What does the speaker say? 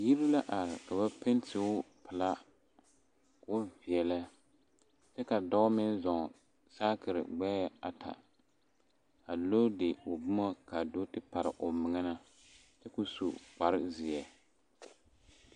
Yiri la are ka ba pɛnti o pelaa ka o veɛlɛ kyɛ ka dɔɔ meŋ zɔɔ saakere gbɛɛ ata a loodi o boma ka do te pare o meŋ na kyɛ ka o su kparezeɛ.